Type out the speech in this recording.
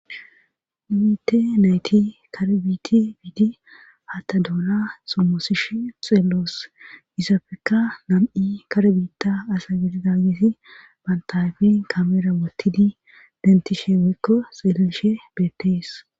Ibite nayti karbiti biidi hatta doola somosish xeelloos isafeka nam7i karbiitta asa gidi daagessi bantayfen kamera wottidi dentishe weykko xeellishe beettees